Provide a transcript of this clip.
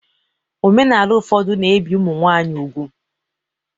Omenala ụfọdụ na-ebi ụmụ nwanyị ugwu